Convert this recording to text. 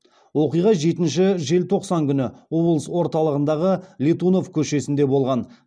оқиға жетінші желтоқсан күні облыс орталығындағы летунов көшесінде болған